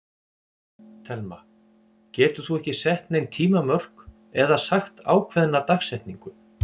Telma: Getur þú ekki sett nein tímamörk eða sagt ákveðna dagsetningu?